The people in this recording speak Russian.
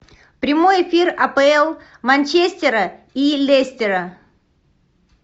прямой эфир апл манчестера и лестера